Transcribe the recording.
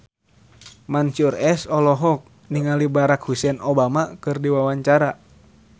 Mansyur S olohok ningali Barack Hussein Obama keur diwawancara